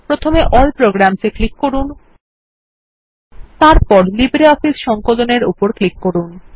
প্রথমে all programs এ click করুন তারপর লিব্রিঅফিস সংকলন এর উপর ক্লিক করুন